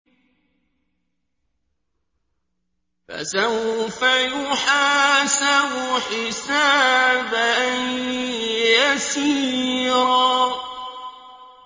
فَسَوْفَ يُحَاسَبُ حِسَابًا يَسِيرًا